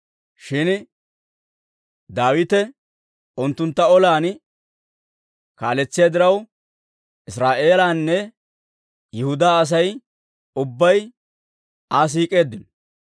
Shin Daawite unttuntta olan kaaletsiyaa diraw, Israa'eelanne Yihudaa Asay ubbay Aa siik'eeddino.